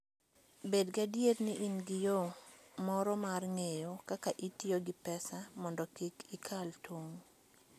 Bed gadier ni in gi yo moro mar ng'eyo kaka itiyo gi pesa mondo kik ikal tong'.